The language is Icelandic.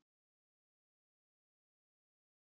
Stjórnarskráin sé endurskoðuð við breyttar aðstæður